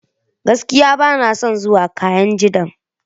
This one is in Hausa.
Gaskiya! Bana son zuwa kainji dam.